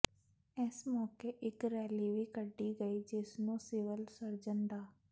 ਇਸ ਮੌਕੇ ਇਕ ਰੈਲੀ ਵੀ ਕੱਢੀ ਗਈ ਜਿਸ ਨੂੰ ਸਿਵਲ ਸਰਜਨ ਡਾ